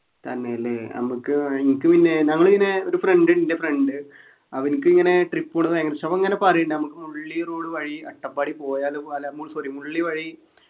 തന്നെല്ലേ നമുക്ക് ഏർ എനിക്ക് പിന്നെ നമ്മളിങ്ങനെ ഒരു friend ൻ്റെ friend അവരിക്കിങ്ങനെ trip പോണത് ഭയങ്കരിഷ്ടാ അപ്പൊ ഇങ്ങനെ പറയുന്നുണ്ട് നമുക്ക് മുള്ളി road വഴി അട്ടപ്പാടി പോയാലൊ അല്ല മു sorry മുള്ളി വഴി